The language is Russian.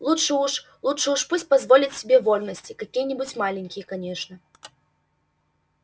лучше уж лучше уж пусть позволит себе вольности какие-нибудь маленькие конечно